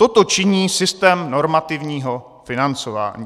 Toto činí systém normativního financování.